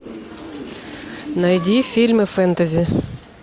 найди фильмы фэнтези